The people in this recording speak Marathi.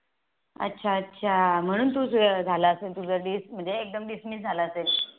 अच्छा अच्छा म्हणून तुझं झालं असेल तुझ म्हणजे एकदम Dismiss झालं असेल